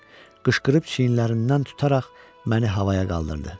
Qışqırıb çiyinlərindən tutaraq məni havaya qaldırdı.